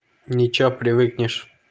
ничего привыкнешь